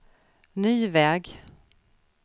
ny väg